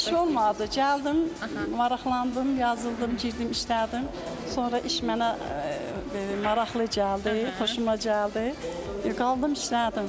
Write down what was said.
İş olmadı, gəldim, maraqlandım, yazıldım, girdim, işlədim, sonra iş mənə maraqlı gəldi, xoşuma gəldi, qaldım işlədim.